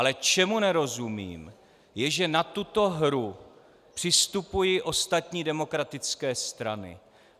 Ale čemu nerozumím, je, že na tuto hru přistupují ostatní demokratické strany.